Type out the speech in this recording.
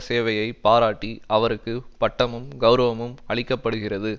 சேவையை பாராட்டி அவருக்கு பட்டமும் கௌரவமும் அளிக்க படுகிறது